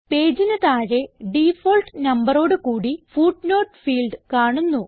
പേജിന് താഴെ ഡിഫാൾട്ട് നമ്പറോഡു കൂടി ഫുട്നോട്ട് ഫീൽഡ് കാണുന്നു